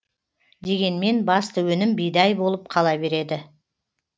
дегенмен басты өнім бидай болып қала береді